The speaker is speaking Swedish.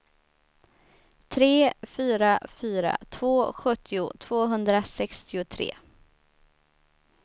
tre fyra fyra två sjuttio tvåhundrasextiotre